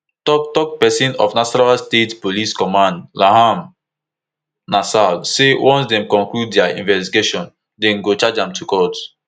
toktok pesin of nasarawa state police command ramhan nansel say once dem conclude dia investigation dem go charge am to court